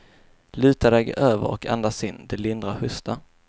Luta dig över och andas in, det lindrar hosta.